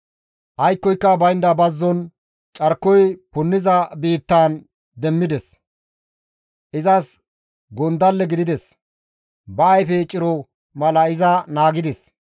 «Aykkoyka baynda bazzon carkoy punniza biittaan iza demmides; izas gondalle gidides; ba ayfe ciro mala iza naagides.